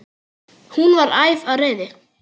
Hún var æf af reiði.